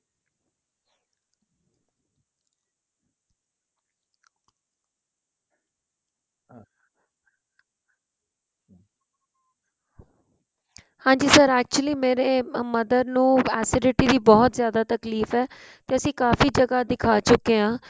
ਹਾਂਜੀ sir actually ਮੇਰੇ mother ਨੂੰ acidity ਦੀ ਬਹੁਤ ਜਿਆਦਾ ਤਕਲੀਫ਼ ਏ ਤੇ ਅਸੀਂ ਕਾਫ਼ੀ ਜਗ੍ਹਾ ਦਿੱਖਾ ਚੁੱਕੇ ਹਾਂ